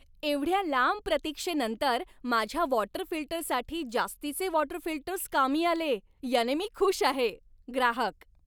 एवढ्या लांब प्रतीक्षेनंतर माझ्या वॉटर फिल्टरसाठी जास्तीचे वॉटर फिल्टर्स कामी आले याने मी खुश आहे. ग्राहक